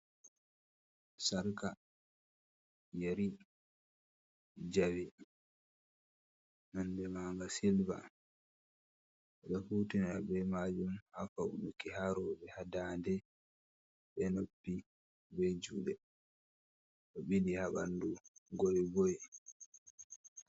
Sarka yeri jawe nonde manga silver ɓe ɗo hutina be majum ha faunuki ha rooɓe, ha ndande be noppi be juuɗe ɗo ɓili ha ɓandu goigoi.